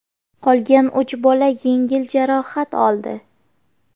Qolgan uch bola yengil jarohat oldi.